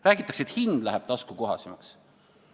Räägitakse, et hind läheb taskukohasemaks.